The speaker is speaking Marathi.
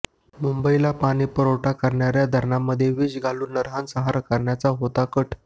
मुंबईला पाणीपुरवठा करणार्या धरणांमध्ये विष घालून नरसंहार करण्याचा होता कट